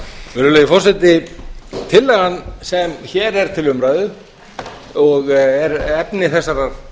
virðulegi forseti tillagan sem hér er til umræðu og er efni þessarar